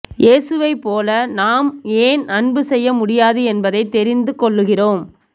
இயேசுவைப் போல நாம் ஏன் அன்பு செய்ய முடியாது என்பதைத் தெரிந்துகொள்கிறோம்